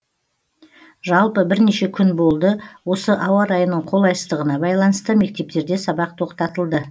жалпы бірнеше күн болды осы ауа райының қолайсыздығына байланысты мектептерде сабақ тоқтатылды